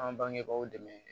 An bangebaaw dɛmɛ